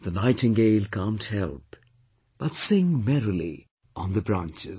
The nightingale can't help but sing merrily on the branches